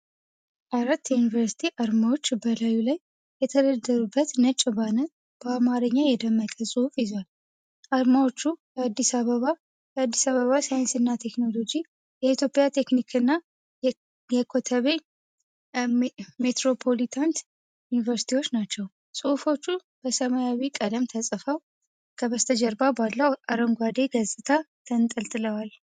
አራት የዩኒቨርሲቲ አርማዎች በላዩ ላይ የተደረደሩበት ነጭ ባነር በአማርኛ የደመቀ ጽሑፍ ይዟል። አርማዎቹ የአዲስ አበባ፣ የአዲስ አበባ ሳይንስና ቴክኖሎጂ፣ የኢትዮጵያ ቴክኒካል እና የከተቤ ሜትሮፖሊታን ዩኒቨርሲቲዎች ናቸው። ጽሑፎቹ በሰማያዊ ቀለም ተጽፈው ከበስተጀርባ ባለው አረንጓዴ ገጽታ ተንጠልጥለዋል።